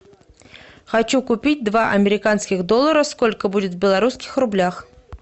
хочу купить два американских доллара сколько будет в белорусских рублях